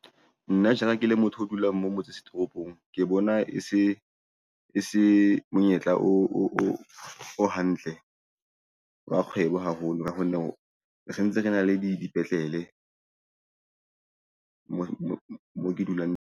Nna jara ke le motho a dulang mo motse setoropong, ke bona e se monyetla o hantle wa kgwebo haholo ka kgonne sentse re na le di dipetlele mo ke dulang.